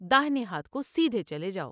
داہنے ہاتھ کو سیدھے چلے جاؤ ''